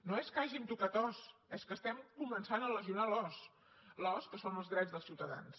no és que hàgim tocat os és que estem començant a lesionar l’os l’os que són els drets dels ciutadans